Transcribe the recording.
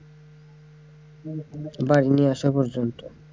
বাড়ি নিয়ে আসা পর্যন্ত।